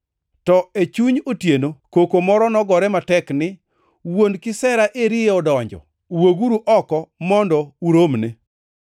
“To e chuny otieno koko moro nogore matek ni, ‘Wuon kisera eri odonjo! Wuoguru oko mondo uromne!’